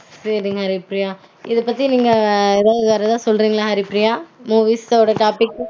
சேரி ஹரிப்ரியா இத பத்தி நீங்க வேற ஏதாவது சொல்றீங்களா ஹரிப்ரியா movies ஒரு topic